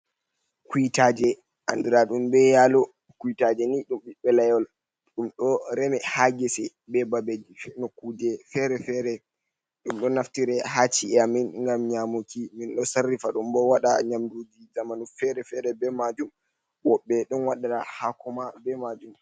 Kuytaaje andiraaɗum be yaalo, kuytaaje ni ɗum ɓiɓɓe layol, ɗum ɗo reme haa gese, be babee nokuuje feere-feere. Ɗum ɗo naftire haa chi’e amin ngam nyaamuki, min ɗo sarrifa ɗum bo waɗa nyamnduuji zamanu fere-fere be maajum. Woɓɓe ɗon waɗa hɗako ma be maajum.